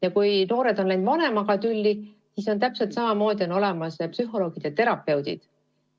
Ja kui noored on läinud vanematega tülli, siis on täpselt samamoodi – on olemas psühholoogid ja terapeudid.